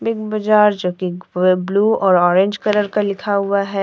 एक बाजार जोकि पूरे ब्लू और ऑरेंज कलर का लिखा हुआ है।